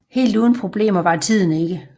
Helt uden problemer var tiden ikke